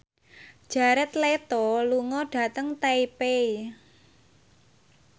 Jared Leto lunga dhateng Taipei